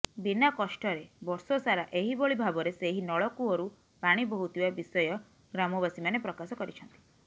ବିନା କଷ୍ଟରେ ବର୍ଷସାରା ଏହିଭଳି ଭାବରେ ସେହି ନଳକୂଅରୁ ପାଣି ବୋହୁଥିବା ବିଷୟ ଗ୍ରାମବାସୀ ମାନେ ପ୍ରକାଶ କରିଛନ୍ତି